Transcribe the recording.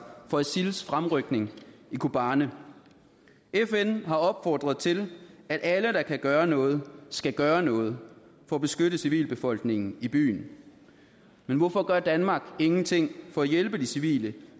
for isils fremrykning i kobani fn har opfordret til at alle der kan gøre noget skal gøre noget for at beskytte civilbefolkningen i byen men hvorfor gør danmark ingenting for at hjælpe de civile